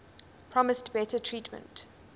promised better treatment